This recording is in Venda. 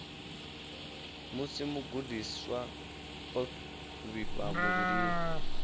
musi mugudiswa o vhifha muvhilini